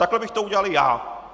Takhle bych to udělal já.